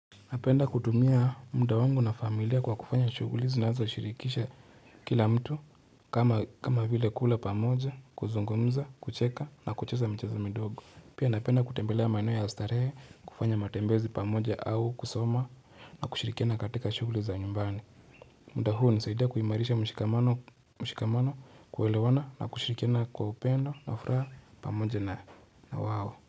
Napenda kutumia munda wangu na familia kwa kufanya shughulina zinazo shirikisha Kila mtu kama kama vile kula pamoja kuzungomza kucheka na kucheza mchezo midogo. Pia napenda kutembelea maino ya astarehe kufanya matembezi pamoja au kusoma na kushirikiana katikashughuli za nyumbani munda huu unisaidia kuimarisha mshikamano kuwelewana na kushirikiana kwa upendo na ufraa pamoja na wao.